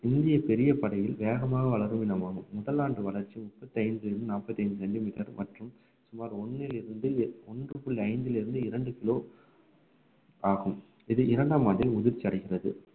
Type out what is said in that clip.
இந்திய பெரிய படையில் வேகமாக வளரும் இனமாகும் முதலாண்டு வளர்ச்சி முப்பத்தைந்திலிருந்து நாற்பத்தைந்து சென்டிமீட்டர் மற்றும் சுமார் ஒண்ணிலிருந்து ஒன்று புள்ளி ஐந்திலிருந்து இரண்டு கிலோ ஆகும் இது இரண்டாம் ஆண்டில் முதிர்ச்சி அடைகிறது